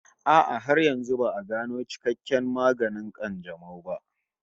A'a, har yanzu ba'a gano cikakken maganin ƙanjamau ba